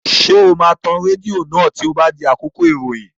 Ṣé o máa tan rédíò náà tí ó bá di àkókò ìròyìn?